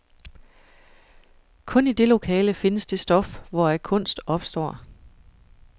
Kun i det lokale findes det stof, hvoraf kunst opstår.